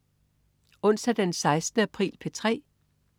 Onsdag den 16. april - P3: